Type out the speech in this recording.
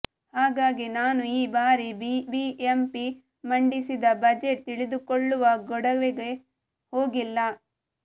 ಹಾಗಾಗಿ ನಾನು ಈ ಬಾರಿ ಬಿಬಿಎಂಪಿ ಮಂಡಿಸಿದ ಬಜೆಟ್ ತಿಳಿದುಕೊಳ್ಳುವ ಗೊಡವೆಗೆ ಹೋಗಿಲ್ಲ